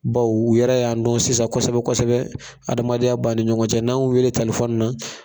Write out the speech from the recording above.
Bawo u yɛrɛ y'an dɔn sisan kosɛbɛ kosɛbɛ adamadenya b'an ni ɲɔgɔn cɛ n'an y'u wele na